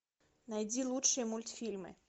найди лучшие мультфильмы